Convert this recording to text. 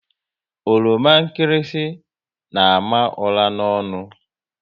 Oroma nkịrịsị n' àmà ụra n'ọnụ